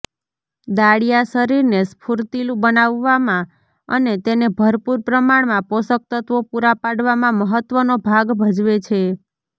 દાળિયા શરીરને સ્ફૂર્તિલુ બનાવવામાં અને તેને ભરપૂર પ્રમાણમાં પોષકતત્ત્વો પૂરા પાડવામાં મહત્ત્વનો ભાગ ભજવે છે